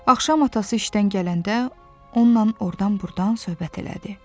Axşam atası işdən gələndə onunla ordan burdan söhbət elədi.